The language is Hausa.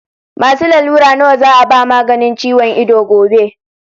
Masu lalura nawa za a ba maganin ciwon ido gobe?